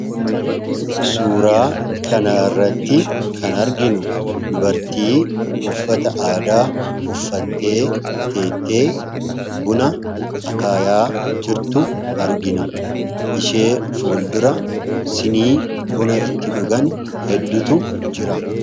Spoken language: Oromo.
Suuraa kanarratti kan arginuu, dubartii uffata aadaa uffattee, teettee buna akaayaa jirtu argina. Ishee fuuldura sinii buna itti dhugan hedduutu jira.